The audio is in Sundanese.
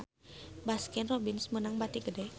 Baskin Robbins meunang bati gede